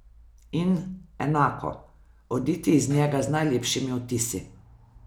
In, enako, oditi iz njega z najlepšimi vtisi.